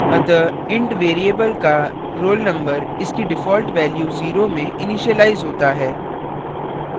अतः int variable का roll _ number इसकी default value zero में इनिशिलाइज होता है